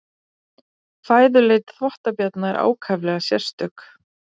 Fæðuleit þvottabjarna er ákaflega sérstök.